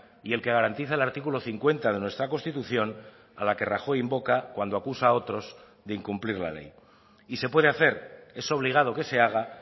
y el que garantiza el artículo cincuenta de nuestra constitución a la que rajoy invoca cuando acusa a otros de incumplir la ley y se puede hacer es obligado que se haga